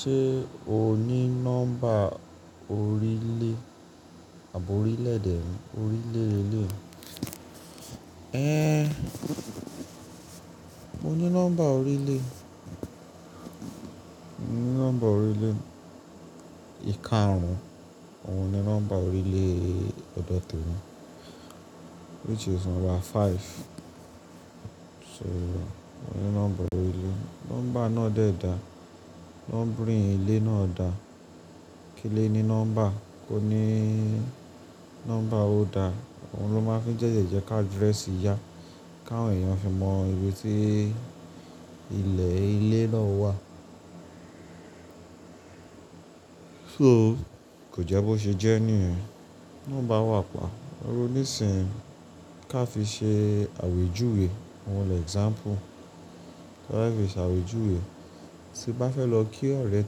Ṣé o ní nọ́mbà orílè àbi orílèdè ni, orílè leleyi. Én, mo ní nọ́mbà orílè. Mo ní nọ́mbà orílè ìkarun, òun ní nọ́mbà orílè ọ̀dọ́temi, which is number five. So, mo ní nọ́mbà orílè. Nọ́mbà náà de daa, numbering ilé náà dà. Kí ile ní number? Ko ní number ó dà. Òun ló máa fi tete jẹ́ ki address ya, káwọn èèyàn fi mọ ibi tí ilẹ̀ ilé náà wà. So, kò jẹ́ bó ṣe jẹ́ nìyẹn. Number wa pa. Iru níìsínyi ká fi ṣe àwèjúwe. Ohun lè example. Ti a fe fi ṣe àwèjúwe. Tí bá fẹ́ lọ kí ọ̀rẹ́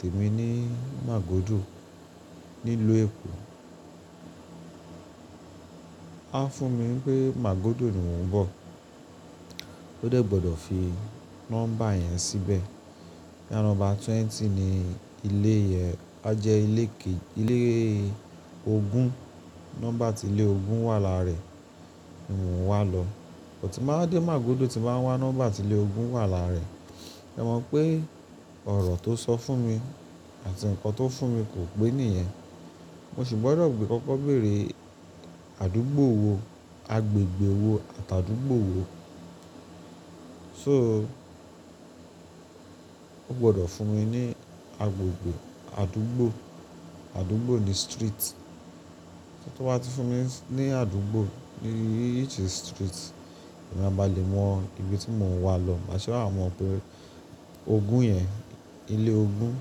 tẹmi ní Màgódò ní ìlú Èkó, a fún mi pé Màgódò ni mò ń bọ̀. Ó de gbọ́dọ̀ fi number yẹn síbẹ̀. Bí nọ́mbà twenty ni ilé yẹn, a jẹ́ ilé ke-- ilé ogún. Nọ́mbà ti ilé ogún wà láàárẹ, ni mò ń wà lọ. But, tíì n ba wa dé Màgódò tí n ba wá number ti ilé ogún wà láàraẹ. Ẹ mọ̀ pé ọ̀rọ̀ tó sọ fún mi àti ǹkan tó fún mi kò pé nìyẹn. Mo sì gbọ́dọ̀ gbé kọ́kọ́ bèrè àdúgbò wo, agbègbè wo àti àdúgbò wo. So, o gbọ́dọ̀ fún mi ní agbègbè, àdúgbò. Àdúgbò ni street. Tó bá ti fún mi ní àdúgbò, which is street, emi máa ba lè mọ ibi tí mò ń wà lọ. Máa se wa mọ̀ pé ogún yẹn, ilé ogún,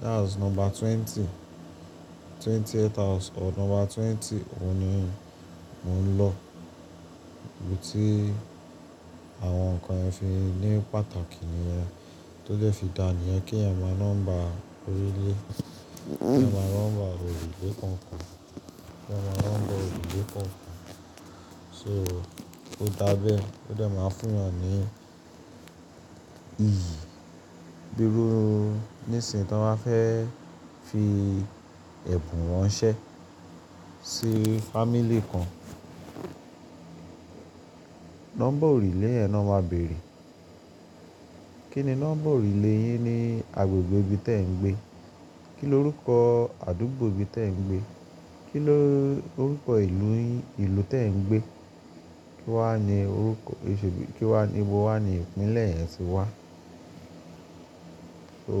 that's number twenty, twentieth house or number twenty òun ni mò ń lọ. Ibi tí àwọn ǹkan yen fi ní pàtàkì nìyẹn. Tó dẹ́ fi dà nìyẹn kí ẹ̀ mọ nọ́mbà orílè. Kí ẹ̀eyan mọ number orulè kan kan. Kí ẹ̀ mọ nọ́mbà orílè kan kan. So, ó dàbẹ́. Ó de máa fúnyan ní iyì. Bíi ru níìsín tó máa fẹ́ fi ẹ̀bùn ranṣẹ́ sí family kan. Number orílè yen ná máa bèrè. Kí ni number orílè yín ní agbègbè ibi tí ẹ̀ ń gbé? Kí ló rúkọ̀ àdúgbò ibi tí ẹ̀ ń gbé? Kí ló rúkọ ìlú yín, ìlú tí ẹ̀ ń gbé? Kí wà ni orúkọ èṣò bí-- kí wà ni, bo wà ni ìpínlẹ̀ yẹn tí wà? So,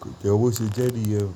kò jẹ́ bó ṣe jẹ́ nìyẹn.